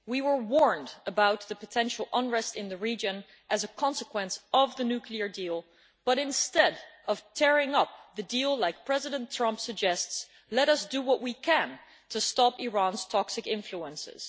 We were warned about the potential unrest in the region as a consequence of the nuclear deal, but instead of tearing up the deal like President Trump suggests, let us do what we can to stop Iran's toxic influence.